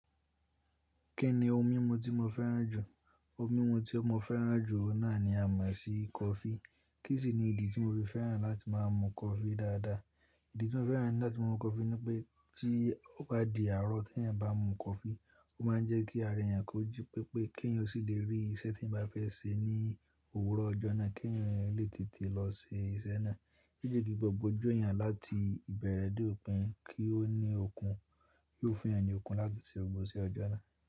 Kí ni ohun mímu tí mo fẹ́ràn jù? Ohun mímu tí mo fẹ́ràn jù náà ni a mọ̀ sí coffee. Kí sì ni ìdí tí mo ti fẹ́ràn láti má a mu coffee dáadáa? Ìdí tí mo fẹ́ràn láti mu coffee ni pé tí ó bá di àárọ̀ tí eẹ̀yan bá mu coffee, ó má a ń jẹ́ kí ara eẹ̀yan koji pẹpẹ kí èyin ó sì le rí iṣẹ́ tí eẹ̀yan bá fẹ́ ṣe ní òwúrọ̀ ọjọ́ náà kí eèyan lè tètè lọ ṣe iṣẹ́ náà. Kí ìdí gbogbo ojú ẹ̀eyan láti ìbẹ̀rẹ̀ dé òpin kí ó ní okun, kí ó fún ẹ̀yin ní okun láti ṣe gbogbo ise ọjọ́ náà.